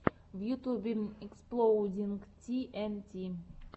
в ютюбе эксплоудинг ти эн ти